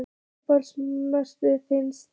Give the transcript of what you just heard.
Uppáhalds mark ferilsins?